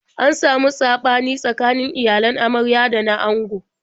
An samu saɓani tsakanin iyalan amarya da na ango.